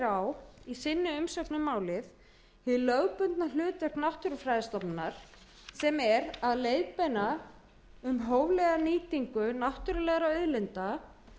á í sinni umsögn um málið hið lögbundna hlutverk náttúrufræðistofnunar sem sé meðal annars að leiðbeina um hóflega nýtingu náttúrulegra auðlinda